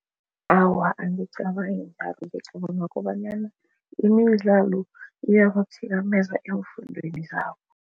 Awa, angicabangi ngicabanga kobanyana imidlalo iyabathikameza eemfundweni zabo.